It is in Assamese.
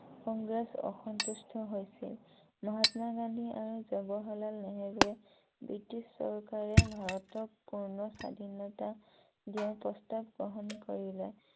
কংগ্ৰেছ অসন্তুষ্ট হৈছিল । মহাত্মা গান্ধী আৰু জৱাহৰলাল নেহেৰুৱে ব্ৰিটিছ চৰকাৰে ভাৰতক পূৰ্ণ স্বাধীনতা দিয়াৰ প্ৰস্তাৱ গ্ৰহন কৰিলে ।